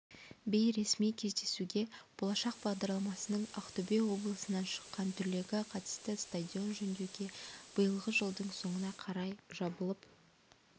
бейресми кездесуге болашақ бағдарламасының ақтөбе облысынан шыққан түлегі қатысты стадион жөндеуге биылғы жылдың соңына қарай жабылып